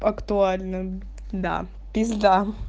актуально да пизда